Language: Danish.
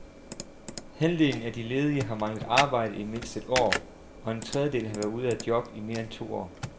Halvdelen af de ledige har manglet arbejde i mindst et år, og en tredjedel har været ude af job i mere end to år.